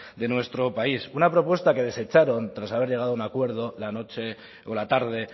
de nuestro país una propuesta que desecharon tras haber llegado a un acuerdo la tarde